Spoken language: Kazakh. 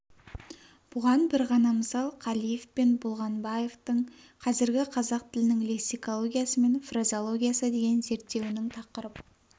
бұған бір ғана мысал қалиев пен болғанбаевтың қазіргі қазақ тілінің лексикологиясы мен фразеологиясы деген зерттеуінің тақырып